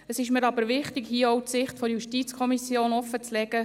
Es ist mir aber wichtig, hier auch die Sicht der JuKo offenzulegen.